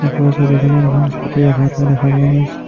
ওপৰৰ ছবিখনত এখন স্কুটি ৰখাই থোৱা দেখা পোৱা গৈছে।